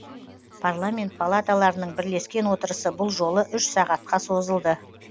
парламент палаталарының бірлескен отырысы бұл жолы үш сағатқа созылды